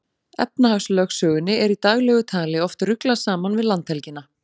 Efnahagslögsögunni er í daglegu tali oft ruglað saman við landhelgina.